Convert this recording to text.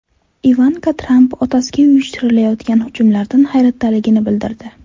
Ivanka Tramp otasiga uyushtirilayotgan hujumlardan hayratdaligini bildirdi.